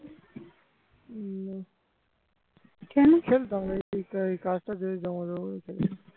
খেলতাম এই কাজটা জমা দেবো বলে আজ খেলিনি